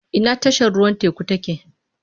Ina tashar ruwan teku take?